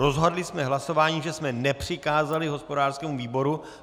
Rozhodli jsme hlasováním, že jsme nepřikázali hospodářskému výboru.